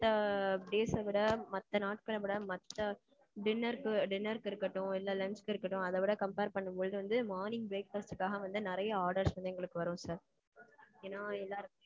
மத்த days அ விட, மத்த நாட்கள விட, மத்த dinner க்கு dinner க்கு இருக்கட்டும் இல்ல lunchக்கு இருக்கட்டும் அத விட compare பண்ணும்போது வந்து morning breakfast காக வந்து நிறைய orders வந்து எங்களுக்கு வரும் sir. ஏன்னா, எல்லாரும்